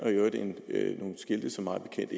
i øvrigt nogle skilte som mig bekendt